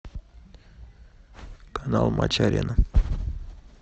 канал матч арена